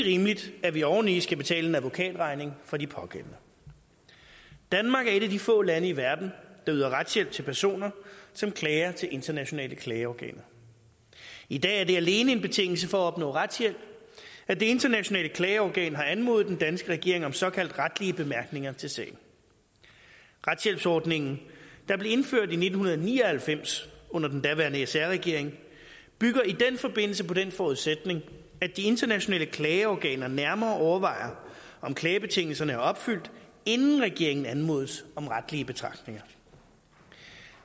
rimeligt at vi oveni skal betale en advokatregning for de pågældende danmark er et af de få lande i verden der yder retshjælp til personer som klager til internationale klageorganer i dag er det alene en betingelse for at opnå retshjælp at det internationale klageorgan har anmodet den danske regering om såkaldt retlige bemærkninger til sagen retshjælpsordningen der blev indført i nitten ni og halvfems under den daværende sr regering bygger i den forbindelse på den forudsætning at de internationale klageorganer nærmere overvejer om klagebetingelserne er opfyldt inden regeringen anmodes om retlige betragtninger